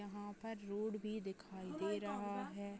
वहाँ पर रोड भी दिखाई दे रहा है।